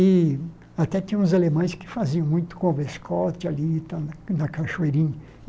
E até tinha uns alemães que faziam muito ali na Cachoeirinha.